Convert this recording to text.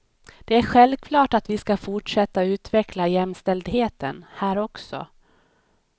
Det är självklart att vi ska fortsätta utveckla jämställdheten här också.